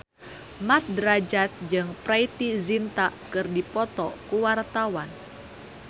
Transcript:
Mat Drajat jeung Preity Zinta keur dipoto ku wartawan